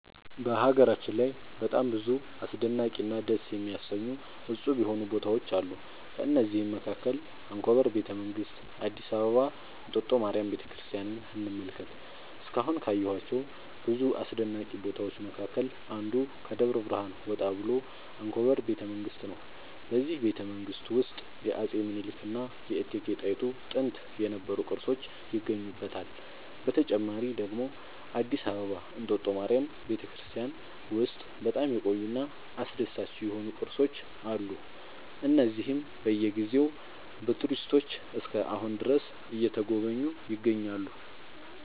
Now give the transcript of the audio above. በሀገራችን ላይ በጣም ብዙ አስደናቂ እና ደስ የሚያሰኙ እፁብ የሆኑ ቦታዎች አሉ ከእነዚህም መካከል አንኮበር ቤተ መንግስት አዲስ አበባ እንጦጦ ማርያም ቤተክርስቲያንን እንመልከት እስካሁን ካየኋቸው ብዙ አስደናቂ ቦታዎች መካከል አንዱ ከደብረ ብርሃን ወጣ ብሎ አንኮበር ቤተ መንግስት ነው በዚህ ቤተመንግስት ውስጥ የአፄ ሚኒልክ እና የእቴጌ ጣይቱ ጥንት የነበሩ ቅርሶች ይገኙበታል። በተጨማሪ ደግሞ አዲስ አበባ እንጦጦ ማርያም ቤተክርስቲያን ውስጥ በጣም የቆዩ እና አስደሳች የሆኑ ቅርሶች አሉ እነዚህም በየ ጊዜው በቱሪስቶች እስከ አሁን ድረስ እየተጎበኙ ይገኛሉ